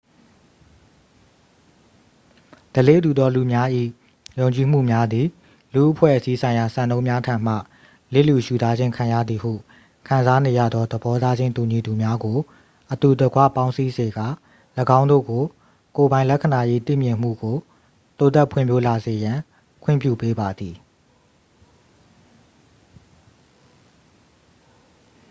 ဓလေ့တူသောလူများ၏ ယုံကြည်မှုများသည် လူ့အဖွဲ့အစည်းဆိုင်ရာစံနှုန်းများထံမှ လစ်လျူရှုထားခြင်းခံရသည်ဟုခံစားနေရသော သဘောထားချင်းတူညီသူများကို အတူတကွပေါင်းစည်းစေကာ ၎င်းတို့ကို ကိုယ်ပိုင်လက္ခဏာ၏သိမြင်မှုကို တိုးတက်ဖွံ့ဖြိုးလာစေရန် ခွင့်ပြုပေးပါသည်